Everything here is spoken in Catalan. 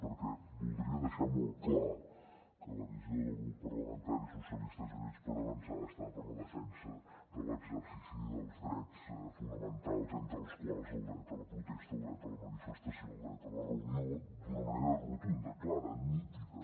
perquè voldria deixar molt clar que la visió del grup parlamentari socialistes i units per avançar està per la defensa de l’exercici dels drets fonamentals entre els quals el dret a la protesta el dret a la manifestació el dret a la reunió d’una manera rotunda clara nítida